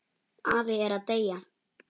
Afi er að deyja.